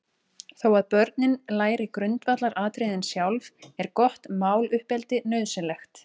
Þó að börnin læri grundvallaratriðin sjálf, er gott máluppeldi nauðsynlegt.